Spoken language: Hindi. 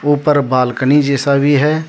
ऊपर बालकनी जैसा भी है।